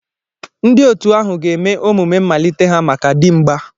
Ndị otu ahụ ga-eme omume mmalite ha maka Dimgba.